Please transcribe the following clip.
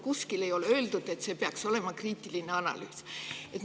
Kuskil ei ole öeldud, et see peaks olema kriitiline analüüs.